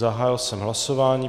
Zahájil jsem hlasování.